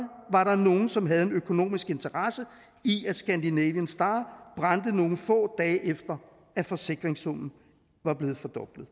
var der nogen som havde en økonomisk interesse i at scandinavian star brændte nogle få dage efter at forsikringssummen var blevet fordoblet